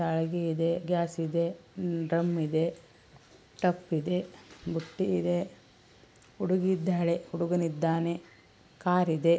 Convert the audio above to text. ಛಲಗಿ ಇದೆ ಗ್ಯಾಸ್ ಇದೆ ಉಮ್ ಡ್ರಮ್ ಇದೆ ಟಬ್ ಇದೆ ಬುಟ್ಟಿ ಇದೆ ಹುಡುಗಿ ಇದ್ದಾಳೆ ಹುಡುಗ ಇದ್ದಾನೆ ಕಾರ್ ಇದೆ.